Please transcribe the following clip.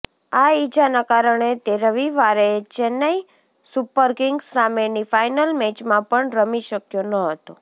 આ ઇજાના કારણે તે રવિવારે ચેન્નઇ સુપરકિંગ્સ સામેની ફાઇનલ મેચમાં પણ રમી શક્યો ન હતો